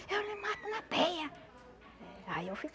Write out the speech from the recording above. Eu lhe mato na peia. Aí eu